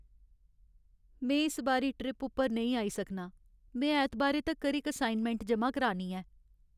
में इस बारी ट्रिप उप्पर नेईं आई सकनां। में ऐतबारै तक्कर इक असाइनमैंट जमा करानी ऐ।